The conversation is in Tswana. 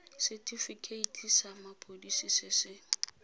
setifikeiti sa mapodisi se se